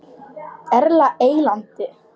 Erla Eyland.